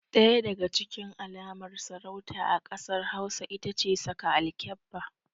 Ɗaya daga cikin alamar sarauta a ƙasar hausa itace saka alkyabba